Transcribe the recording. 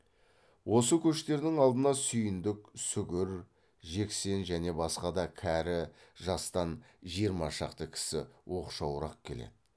осы көштердің алдына сүйіндік сүгір жексен және басқа да кәрі жастан жиырма шақты кісі оқшауырақ келеді